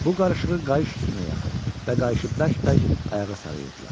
Bu qarışığı qayış üstünə yaxır və qayışı bərk-bərk ayağa sarıyırdılar.